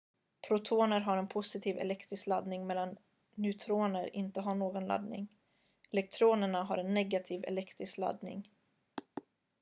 protoner har en positiv elektrisk laddning medan neutroner inte har någon laddning elektronerna har en negativ elektrisk laddning